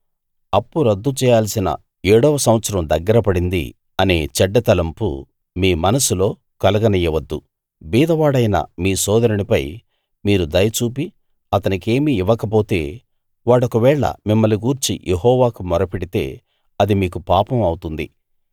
అప్పు రద్దు చేయాల్సిన ఏడో సంవత్సరం దగ్గర పడింది అనే చెడ్డ తలంపు మీ మనస్సులో కలగనీయవద్దు బీదవాడైన మీ సోదరునిపై మీరు దయ చూపి అతనికేమీ ఇవ్వకపోతే వాడొకవేళ మిమ్మల్ని గూర్చి యెహోవాకు మొరపెడితే అది మీకు పాపం అవుతుంది